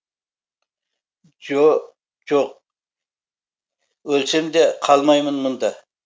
жо жоқ өлсем де қалмаймын мұнда